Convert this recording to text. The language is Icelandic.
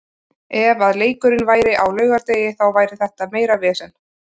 Ef að leikurinn væri á laugardegi þá væri þetta meira vesen.